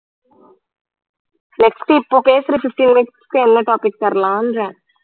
next இப்போ பேசற fifteen minutes க்கு என்ன topic தரலாம்ன்றேன்